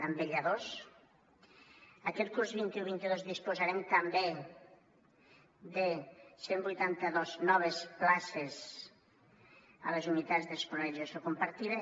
amb vetlladors aquest curs vint un vint dos disposarem també de cent i vuitanta dos noves places a les unitats d’escolarització compartida